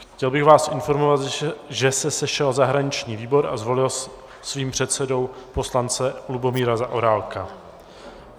Chtěl bych vás informovat, že se sešel zahraniční výbor a zvolil svým předsedou poslance Lubomíra Zaorálka.